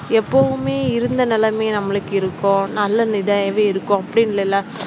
எப்பவுமே இருந்த நிலைமையே நம்மளுக்கு இருக்கும் நல்ல இருக்கும் அப்படின்னு இல்லல்ல